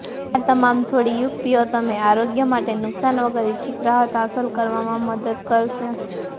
આ તમામ થોડી યુક્તિઓ તમે આરોગ્ય માટે નુકસાન વગર ઇચ્છિત રાહત હાંસલ કરવામાં મદદ કરશે